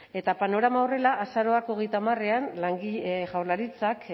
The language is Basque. eta panorama horrela azaroak hogeita hamarean jaurlaritzak